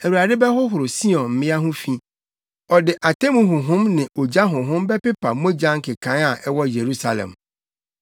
Awurade bɛhohoro Sion mmea ho fi; ɔde atemmu honhom ne ogya honhom bɛpepa mogya nkekae a ɛwɔ Yerusalem.